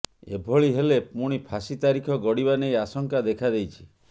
ଏଭଳି ହେଲେ ପୁଣି ଫାଶୀ ତାରିଖ ଗଡ଼ିବା ନେଇ ଆଶଙ୍କା ଦେଖାଦେଇଛି